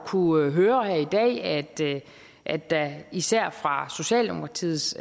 kunnet høre her i dag at at der især fra socialdemokratiets